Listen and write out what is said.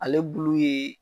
Ale bulu yee